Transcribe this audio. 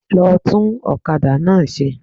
Lọ tún òkadà náà se